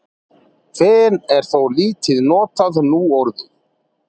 fen er þó lítið notað núorðið